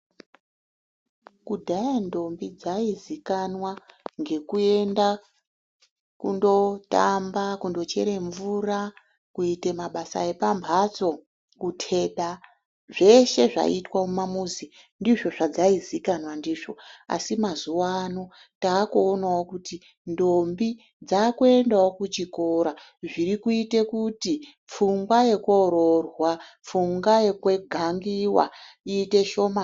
Kudhaya ndombi dzaizikana ngekuenda kundotamba kundochere mvura ,kuteda, kuite mabasa epamhatso zveshe zvaizwe mumamuzi ndizvo zvadzaizikanwa ndizvo , asi mazuwa ano takuonawo kuti ndombi dzakuendawo kuchikora zviri kuite kuti pfungwa yekoroorwa pfungwa yekugangiwa iite shomani.